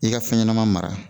I ka fɛn ɲɛnɛma mara